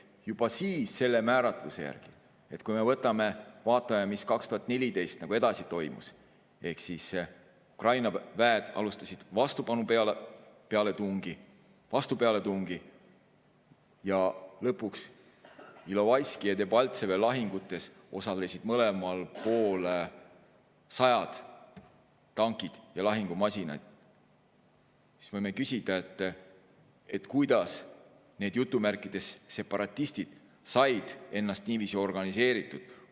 Juba siis selle määratluse järgi, kui me vaatame, mis 2014. aastal edasi toimus – Ukraina väed alustasid vastupealetungi ja lõpuks Ilovaiski ja Debaltseve lahingus osalesid mõlemal pool sajad tankid ja lahingumasinad –, me võime küsida, kuidas need "separatistid" said ennast niiviisi organiseeritud.